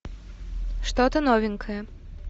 что то новенькое